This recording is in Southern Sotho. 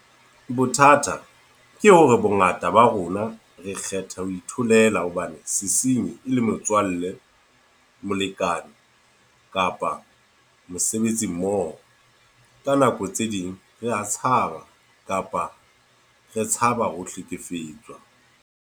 Bothata ke hore bongata ba rona re kgetha ho itholela hobane sesenyi e le motswalle, molekane kapa mosebetsimmoho. Ka nako tse ding rea tshaba kapa re tshaba ho hlekefetswa.